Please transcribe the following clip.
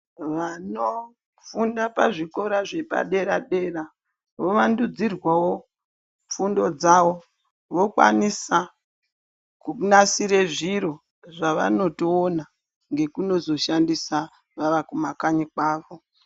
Vanofunda pa zvikora zvepa dera dera vo wandudzirwawo fundo dzavo vakwanisa kunasira zviro zvavanotoona ngekunozo shandisa vawa kuma kanyi kwawo.